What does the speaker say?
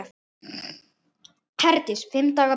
Herdís: Fimm daga bið?